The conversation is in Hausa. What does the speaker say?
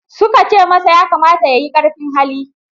Suka ce masa, ya kamata ya yi ƙarfin hali.